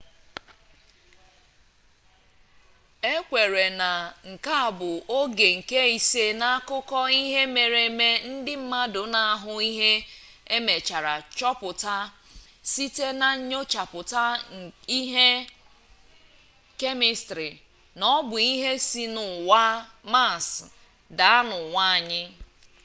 ekweere na nke a bụ oge nke ise n'akụkọ ihe mere eme ndị mmadụ na-ahụ ihe emechaara chọpụta site na nyochapụta ihe kemịstrị na ọbụ ihe si n'ụwa maas daa n'ụwa anyị